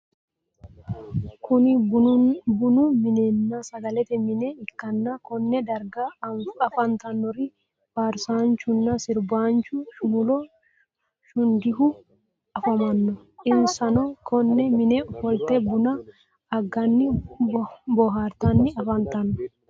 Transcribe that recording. Kunni bunnu minenna sagalete mine ikanna Konne darga afantanori faarsaanchunna sirbaanchu shumulo shundehu afamano. Insano konne mine ofolte bunna aganni boohartanni afantano.